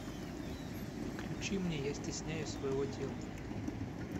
включи мне я стесняюсь своего тела